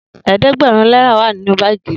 eedegberun nera wa ninu baagi mi.